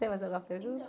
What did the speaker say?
Tem mais alguma pergunta?